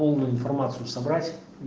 полную информацию собрать